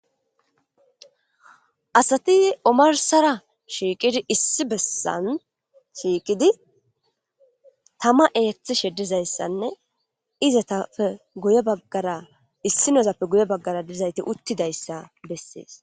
Asati omarsara shiiqidi issi bessan shiiqidi tama eeththi sheddizayssanne iza tafe guye baggara issi nozappe guye baggara dizayti uttidayssa bessees